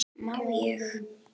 Má ég?